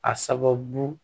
A sababu